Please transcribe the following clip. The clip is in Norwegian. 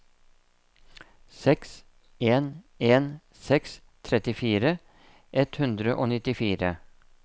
seks en en seks trettifire ett hundre og nittifire